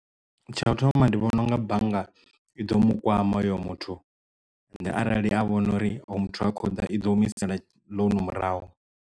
Tsha u thoma ndi vhona unga bannga i ḓo mu kwama hoyo muthu ende arali ya vhona uri hoyu muthu ha khoḓa i ḓo humisela ḽounu murahu.